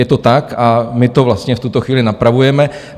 Je to tak a my to vlastně v tuto chvíli napravujeme.